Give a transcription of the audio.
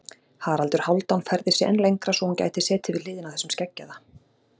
Haraldur Hálfdán færði sig enn lengra svo hún gæti setið við hliðina á þessum skeggjaða.